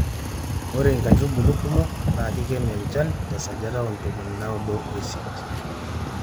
ore inkaitubulu kumok naa kikenu enchan te sajata oo ntomoni naudo oisiet